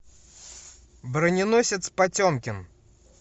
броненосец потемкин